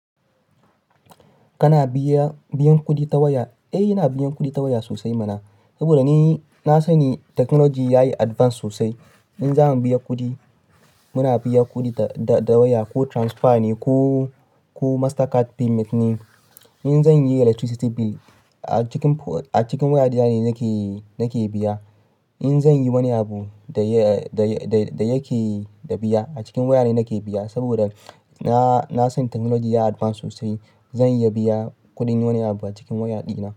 Kana biyan kuɗi ta waya. Eh, ina biyan kuɗi ta waya sosai mana. Saboda ni na sani technology yayi advance sosai. In za mu biya kuɗi, muna biyan kuɗi da waya ko transfer ne ko MasterCard payment ne. In zan yi electricity bill a cikin waya dina ne nake biya. In zan yi wani abu da yake da biya a cikin waya ne nake biya. Saboda na san technology yayi advance sosai. Zan iya biyan kuɗin wani abu a cikin waya dina.